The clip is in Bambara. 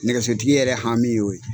Nɛgɛsotigi yɛrɛ hami y'o ye.